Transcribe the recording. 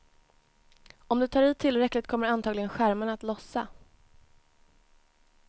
Om du tar i tillräckligt kommer antagligen skärmarna att lossa.